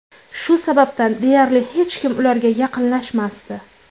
Shu sababdan deyarli hech kim ularga yaqinlashmasdi.